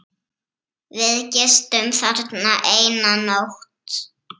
Við gistum þarna eina nótt.